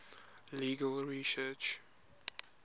legal research